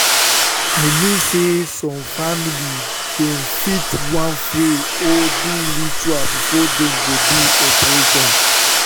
i mean say some family dem fit want pray or do ritual before dem go do operation